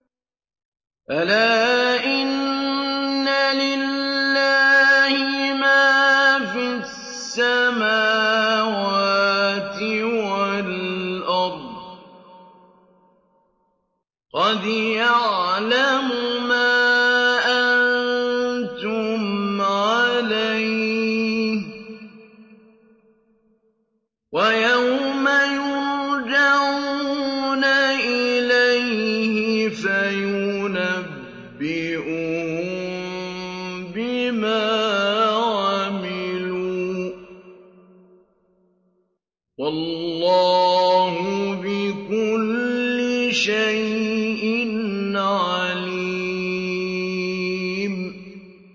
أَلَا إِنَّ لِلَّهِ مَا فِي السَّمَاوَاتِ وَالْأَرْضِ ۖ قَدْ يَعْلَمُ مَا أَنتُمْ عَلَيْهِ وَيَوْمَ يُرْجَعُونَ إِلَيْهِ فَيُنَبِّئُهُم بِمَا عَمِلُوا ۗ وَاللَّهُ بِكُلِّ شَيْءٍ عَلِيمٌ